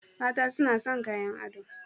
Mata suna son kayan ado